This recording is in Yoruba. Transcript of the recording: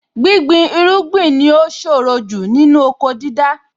Gbíngbin irúgbìn ni ó ṣòro jù nínú oko dídá.